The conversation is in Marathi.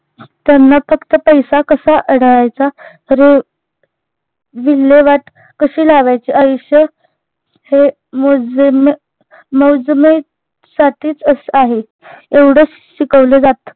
त्यांना फक्त पैसा कसा अढळायचा विल्हेवाट काशी लावायची आयुष्य हे मौजमे मौजमय साठीच अस आहे एवढंच शिकवल जात